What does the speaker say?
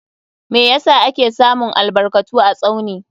Meh yasa ake samun albarkatu a Tsauni?